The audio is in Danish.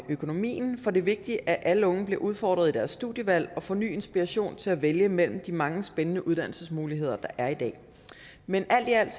økonomien for det er vigtigt at alle unge blive udfordret i deres studievalg og får ny inspiration til at vælge mellem de mange spændende uddannelsesmuligheder der er i dag men alt i alt